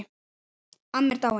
Amma er dáin.